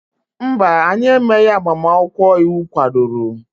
mba, anyị emeghị agbamakwụkwọ iwu kwadoro